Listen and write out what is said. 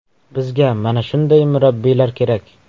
Bizga mana shunday murabbiylar kerak.